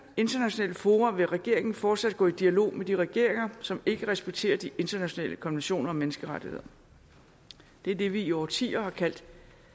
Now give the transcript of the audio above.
internationale fora vil regeringen fortsat gå i dialog med de regeringer som ikke respekterer de internationale konventioner og menneskerettigheder det er det vi i årtier har kaldt